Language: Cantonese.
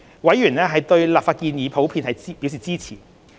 委員對立法建議普遍表示支持。